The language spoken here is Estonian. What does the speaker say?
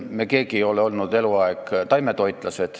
Me keegi ei ole olnud eluaeg taimetoitlane.